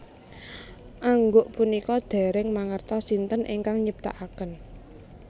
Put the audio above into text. Angguk punika dèrèng mangertos sinten ingkang nyiptakaken